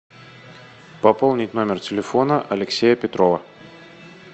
пополнить номер телефона алексея петрова